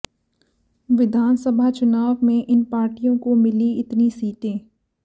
विधानसभा चुनाव में इन पार्टियों को मिली इतनी सीटें